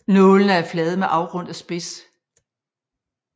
Nålene er flade med afrundet spids